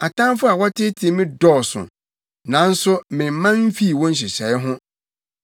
Atamfo a wɔteetee me dɔɔso, nanso memman mfii wo nhyehyɛe ho.